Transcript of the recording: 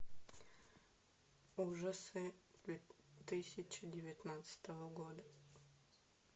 ужасы две тысячи девятнадцатого года